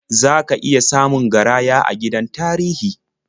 Za ka iya samun garaya a gidan tarihi.